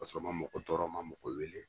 K'a sɔrɔ n ma mɔgɔ tɔɔrɔ, ma mɔgoɛɔ wele.